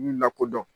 Lakodɔn